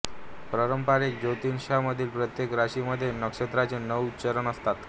पारंपरिक ज्योतिषामध्ये प्रत्येक राशीमध्ये नक्षत्रांचे नऊ चरण असतात